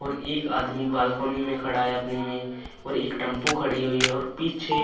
और एक आदमी बालकनी में खड़ा है अपनी में और एक टंपू खड़ी हुई है और पीछे --